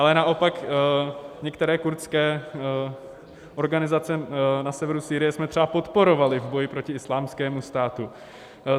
Ale naopak některé kurdské organizace na severu Sýrie jsme třeba podporovali v boji proti Islámskému státu.